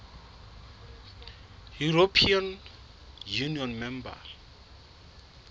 european union member